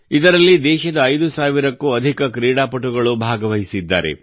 ಇದರಲ್ಲಿ ದೇಶದ 5 ಸಾವಿರಕ್ಕೂ ಅಧಿಕ ಕ್ರೀಡಾಪಟುಗಳು ಭಾಗವಹಿಸುತ್ತಿದ್ದಾರೆ